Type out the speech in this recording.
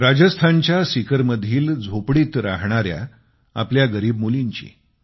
राजस्थानच्या सीकर मधील झोपडीत राहणाऱ्या आपल्या गरीब मुलींची